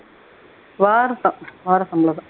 வாரந்தான் வார சம்பளம் தான்உம்